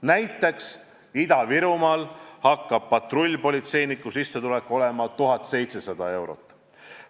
Näiteks Ida-Virumaal hakkab patrullpolitseiniku sissetulek olema 1700 eurot.